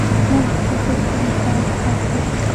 можешь включить провинциалка аш ди